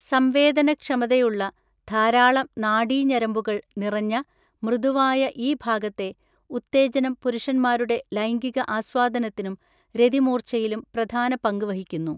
സംവേദന ക്ഷമതയുള്ള ധാരാളം നാഡീ ഞരമ്പുകൾ നിറഞ്ഞ മൃദുവായ ഈ ഭാഗത്തെ ഉത്തേജനം പുരുഷന്മാരുടെ ലൈംഗിക ആസ്വാദനത്തിനും രതിമൂർച്ഛയിലും പ്രധാന പങ്ക് വഹിക്കുന്നു.